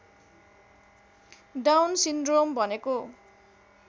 down syndrome भनेको